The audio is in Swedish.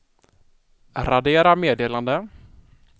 radera meddelande